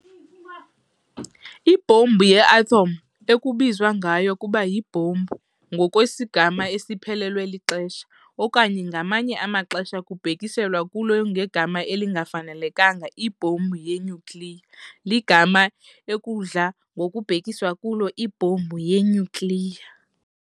Ibhombu yeathom, ekubizwa ngokuba yi"Ibhombu" ngokwesigama esiphelelwe lixesha, okanye ngamanye amaxesha kubhekiselwa kulo ngegama elingafanelekanga "ibhombu yenyukliya" ligama "ekudla ngokubhekiswa kulo ibhombu yenyukliya."